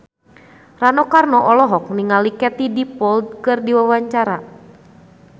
Rano Karno olohok ningali Katie Dippold keur diwawancara